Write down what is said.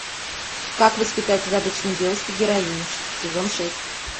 как воспитать из обычной девушки героиню сезон шесть